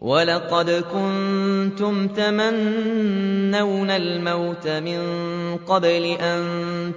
وَلَقَدْ كُنتُمْ تَمَنَّوْنَ الْمَوْتَ مِن قَبْلِ أَن